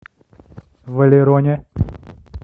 валероне